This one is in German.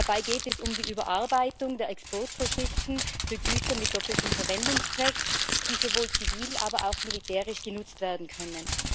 Dabei geht es um die Überarbeitung der Exportvorschriften für Güter mit doppeltem Verwendungszweck, die sowohl zivil als auch militärisch genutzt werden können.